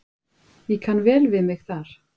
Ég kann vel við mig þar.